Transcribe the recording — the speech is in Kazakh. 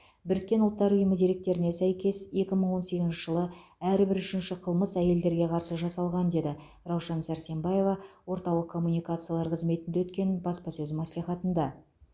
біріккен ұлттар ұйымы деректеріне сәйкес екі мың он сегізінші жылы әрбір үшінші қылмыс әйелдерге қарсы жасалған деді раушан сәрсембаева орталық коммуникациялар қызметінде өткен баспасөз мәслихатында